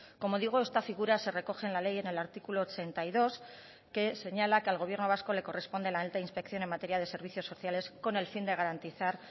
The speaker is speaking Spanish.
como digo esta figura se recoge en la ley en el artículo ochenta y dos que señala que al gobierno vasco le corresponde la alta inspección en materia de servicios sociales con el fin de garantizar